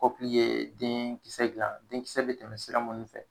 Kɔkili yee deen kisɛ dilan, den kisɛ be tɛmɛ sira minnu fɛ.